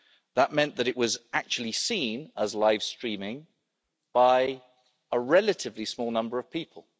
That meant that it was actually seen as live streaming by a relatively small number of people.